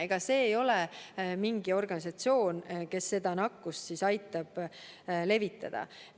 Ega see ei ole mingi organisatsioon, kes aitab nakkust levitada.